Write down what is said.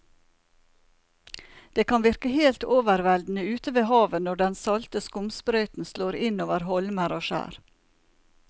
Det kan virke helt overveldende ute ved havet når den salte skumsprøyten slår innover holmer og skjær.